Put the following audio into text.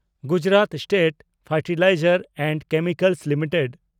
Gujarat State Fertilizers and Chemicals limited